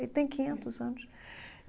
Ele tem quinhentos anos.